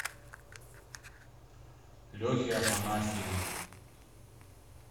лехе афанасьеве